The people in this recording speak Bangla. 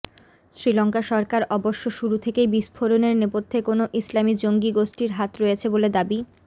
শ্রীলঙ্কা সরকার অবশ্য শুরু থেকেই বিস্ফোরণের নেপথ্যে কোনও ইসলামি জঙ্গি গোষ্ঠীর হাত রয়েছে বলে দাবি